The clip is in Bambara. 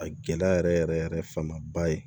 A gɛlɛya yɛrɛ yɛrɛ yɛrɛ fanba ye